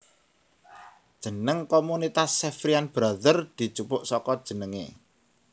Jeneng komunitas Xaverian Brothers dijupuk saka jenengé